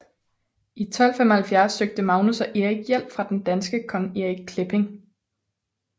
I 1275 søgte Magnus og Erik hjælp fra den danske kong Erik Klipping